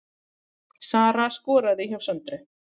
Sara skoraði hjá Söndru